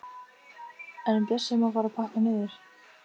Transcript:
En Bjössi má fara að pakka niður.